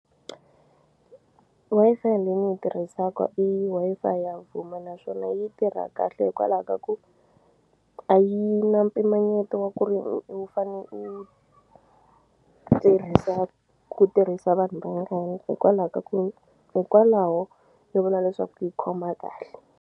Wi-Fi leyi ni yi tirhisaka i Wi-Fi ya Vuma naswona yi tirha kahle hikwalaho ka ku a yi na mpimanyeto wa ku ri u fane u tirhisa ku tirhisa vanhu vangani hikwalaho ka ku hikwalaho ni vula leswaku yi khoma kahle.